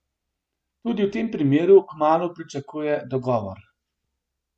Tudi v tem primeru kmalu pričakuje dogovor.